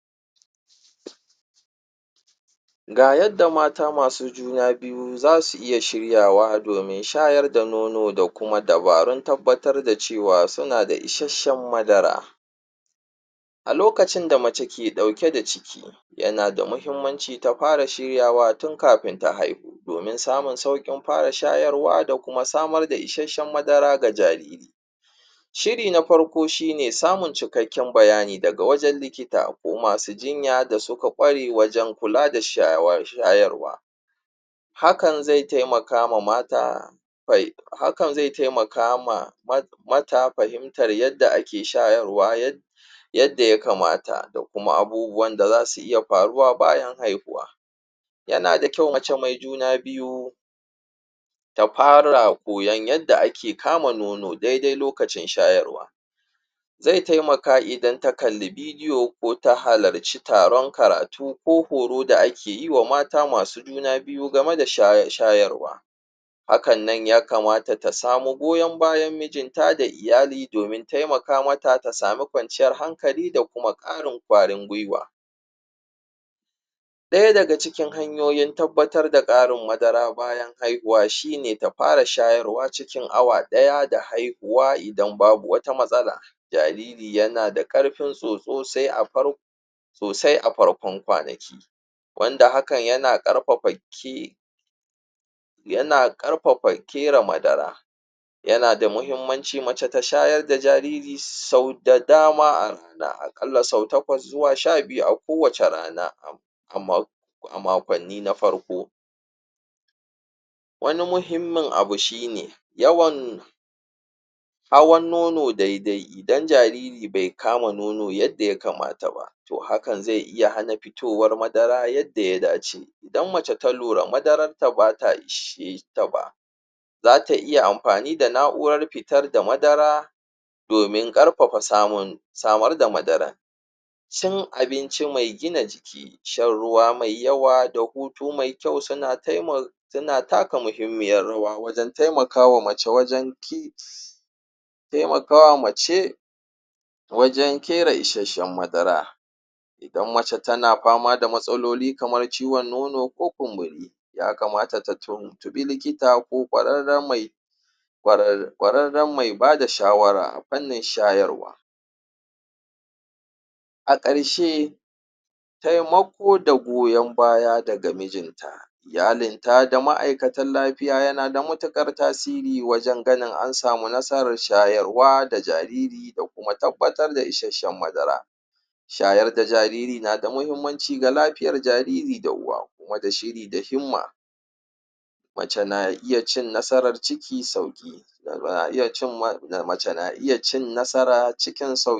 ga yadda mata masu juna biyu zasu iya shiryawa domin shayar da nono da kuma dabarun tabbatar da cewa suna da ishasshan madara a lokacin da mace ke ɗauke da ciki yana da mahimmanci ta fara shiryawa tun kafin ta haihu domin samun saukin fara shayarwa da samar da ishasshan madara ga jariri shiri na farko shine samun cikakkan bayani daga wajan likita ko masu jinya da suka ƙware wajan kula da shayarwa hakan zai taimakama mata hakan zai taimakama mata fahimtar yadda ake shayarwa yadda ya kamata da kuma abubuwan da zasu iya faruwa bayan haihuwa yana da kyau mace mai juna biyu ta fara koyan yadda ake kama nono daidai lokacin shayarwa zai taimaka idan ta kalli video ko ta halarci taron karatu ko horo da ake wa mata masu juna biyu game da shayarwa hakannan ya kamata ta samu goyan bayan mijinta da iyali domin taimaka mata ta samun kwanciyar hankali da kuma ƙarin ƙwarin gwiwa ɗaya daga cikin hanyoyin tabbatar da ƙarin madara bayan haihuwa shine ta fara shayarwa ciki awa ɗaya da haihuwa idan babu wata matsala jariri yana da ƙarfin tsutsu sosai a farƙon ƙwanaki wanda hakan yana ƙarfafa kere madara yana da muhimmanci mace ta shayar da jariri sau da dama a ƙalla sau shaƙwas zuwa sha biyu a kowacce rana a maƙwanni na farko wani muhimmin abu shine yawan hawan nono daidai idan jariri be kama nono yadda ya kamata ba to hakan zai iya hana fitowar madara yadda ya dace idan mace ta lura madararta bata isheta ba zata iya amfani da na'urar fitar da madara domin ƙarfafa samun samar da madarar cin abinci me gina jiki shan ruwa mai yawa da hutu me kyau suna taimakawa suna taka muhimmiyar rawa wajan taimakawa mace wajan kere ishasshan madara idan mace tana fama da matsaloli kamar ciwan nono ko kunburi taya kamata ta tuntuɓi likita ko ƙwararran me bada shawara a fannin shayarwa a ƙarshe taimako da goyan baya daga mijinta iyalinta da ma'aikatan lafiya yana da matuƙar tasiri wajan ganin ansamu nasarar shayarwa da jariri da kuma tabbatar da ishasshan madara shayar da jariri na da mahimmanci ga jlafiyar jaririda uwa kuma da shiri da himma mace na iya cin nasarar ciki sauki mace na iya cin nasara cikin sauki